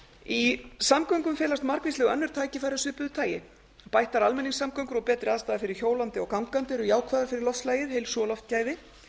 í samgöngum felast margvísleg önnur tækifæri af svið tagi bættar almenningssamgöngur og betri aðstaða fyrir hjólandi og gangandi eru jákvæðar fyrir loftslagið heilsu og loftgæði